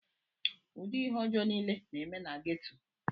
ụdị ihe ọjọọ niile na-eme na geto